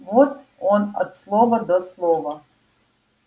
вот он от слова до слова